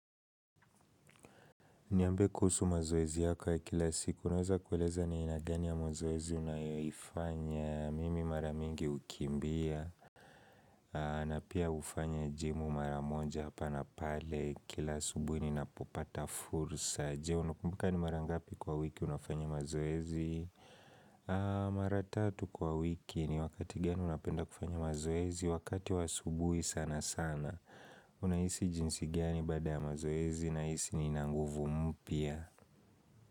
Niambie kuhusu mazoezi yako ya kila siku, naweza kueleza ni aina gani ya mazoezi unayoifanya. Mimi mara mingi hukimbia. Na pia hufanya jimu mara moja hapa na pale. Kila asubuhi ninapopata fursa. Je, unakumbuka ni mara ngapi kwa wiki unafanya mazoezi? Mara tatu kwa wiki. Ni wakati gani unapenda kufanya mazoezi. Wakati wa asubuhi sana sana. Unahisi jinsi gani bada ya mazoezi? Na hisi nina nguvu mpya.